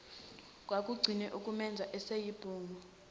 kwakugcine ukumenza eseyibhungu